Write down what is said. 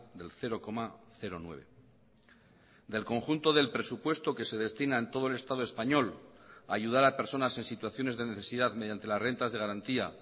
del cero coma nueve del conjunto del presupuesto que se destina en todo el estado español a ayudar a personas en situaciones de necesidad mediante las rentas de garantía